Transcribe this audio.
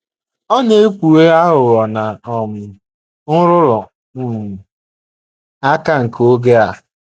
Ọ na - ekpughe aghụghọ na um nrụrụ um aka nke oge a.